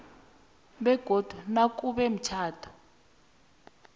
begodu nakube umtjhado